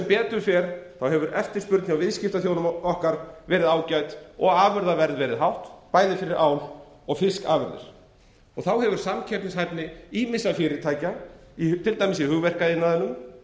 betur fer hefur eftirspurn hjá viðskiptaþjóðum okkar verið ágæt og afurðaverð hátt bæði fyrir ál og fiskafurðir þá hefur samkeppnishæfni ýmissa fyrirtækja til dæmis í hugverkaiðnaðinum